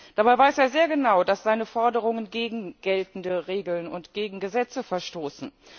Dabei weiß er sehr genau, dass seine Forderungen gegen geltende Regeln und gegen Gesetze verstoßen.